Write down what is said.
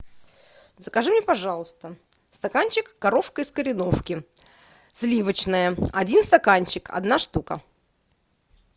закажи мне пожалуйста стаканчик коровка из кореновки сливочное один стаканчик одна штука